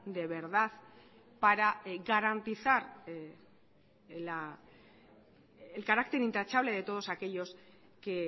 de verdad para garantizar el carácter intachable de todos aquellos que